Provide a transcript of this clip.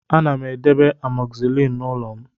Ana m edebe amoxicillin n'ụlọ m